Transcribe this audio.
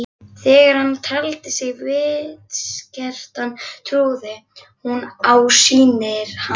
Þegar hann taldi sig vitskertan trúði hún á sýnir hans.